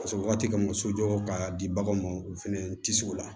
Paseke waati min sojɔ ka di baganw ma u fana tisi u la